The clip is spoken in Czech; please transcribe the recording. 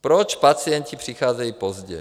Proč pacienti přicházejí pozdě?